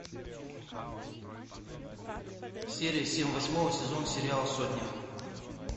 серия семь восьмого сезона сериал сотня